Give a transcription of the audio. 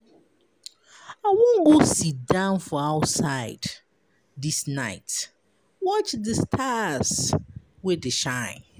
I wan go siddown for outside dis night watch di stars wey dey shine.